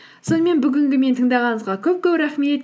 сонымен бүгінгі мені тыңдағаныңызға көп көп рахмет